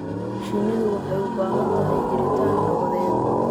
Shinnidu waxay u baahan tahay jiritaan nabadeed.